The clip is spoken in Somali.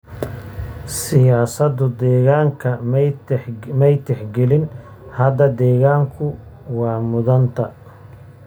Siyaasadu deegaanka may tixgelin. Hadda deegaanku waa mudnaanta.